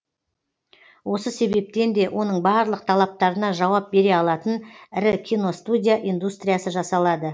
осы себептен де оның барлық талаптарына жауап бере алатын ірі киностудия индустриясы жасалады